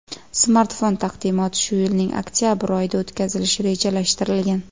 Smartfon taqdimoti shu yilning oktabr oyida o‘tkazilishi rejalashtirilgan.